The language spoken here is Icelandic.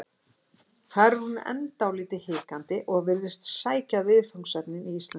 Þar er hún enn dálítið hikandi og virðist sækja viðfangsefnin í íslenskar þjóðsögur.